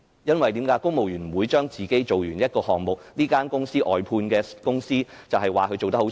因為公務員不會自己完成一個項目，便說是某間外判公司做得差。